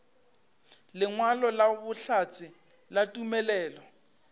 lengwalo la bohlatse la tumelelo